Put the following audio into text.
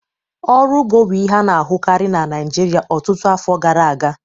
Ọrụ ugbo bụ ihe a na-ahụkarị na Naịjirịa ọtụtụ afọ gara aga